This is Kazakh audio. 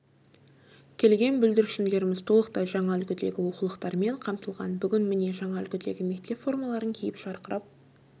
келген бүлдіршіндеріміз толықтай жаңа үлгідегі оқулықтармен қамтылған бүгін міне жаңа үлгідегі мектеп формаларын киіп жарқырап